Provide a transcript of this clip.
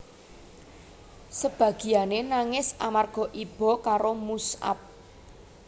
Sebagiyane nangis amarga iba karo Mush ab